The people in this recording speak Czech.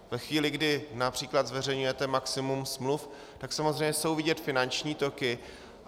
Ve chvíli, kdy například zveřejňujete maximum smluv, tak samozřejmě jsou vidět finanční toky.